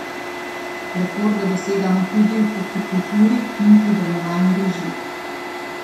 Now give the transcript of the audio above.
Rekorde dosegamo tudi v hortikulturi in pridelovanju riža.